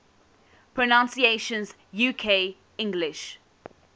pronunciations uk english